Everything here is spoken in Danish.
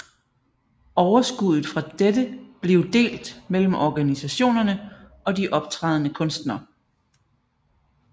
Overskuddet fra dette blive delt mellem organisationerne og de optrædende kunstnere